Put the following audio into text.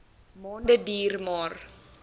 maande duur maar